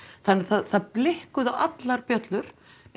þannig það blikkuðu allar bjöllur